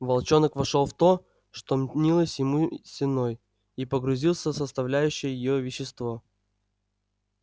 волчонок вошёл в то что мнилось ему стеной и погрузился в составляющее её вещество